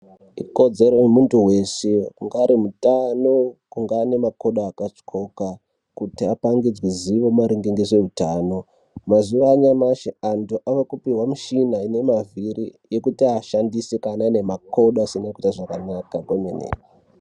Ikodzero yemuntu weshe ungaa ari mutano, ungaa ane makodo akatyoka, kuti apangidzwe ziwo maringe ngezveutano. Mazuva anyamashi antu ava kupihwe michina inemavhiri ekuti ashandise, kana anemakodo asina kuita zvakanaka kwemene.